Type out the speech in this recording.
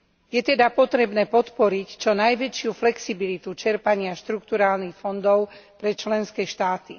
Je teda potrebné podporiť čo najväčšiu flexibilitu čerpania štrukturálnych fondov pre členské štáty.